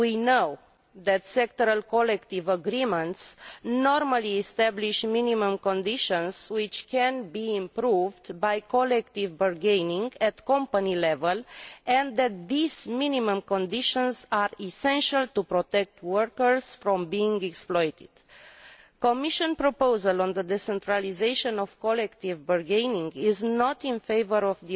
We know that sectoral collective agreements normally establish minimum conditions which can be improved by collective bargaining at company level, and that these minimum conditions are essential to protect workers from being exploited. The Commission proposal on the decentralisation of collective bargaining is not in favour of